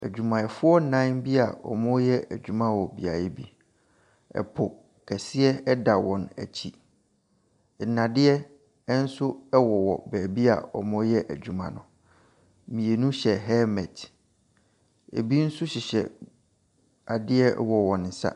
Adwumayɛfoɔ nnan bi a ɔɔyɛ adwuma wɔ beaeɛ bi. Ɛpo kɛseɛ da wɔn ɛkyi. Nnadeɛ ɛnso ɛwowɔ baabi a ɔyɛ adwuma no. mmienu hyɛ helmet, ebi nso hyehyɛ adeɛ wɔ wɔn sa.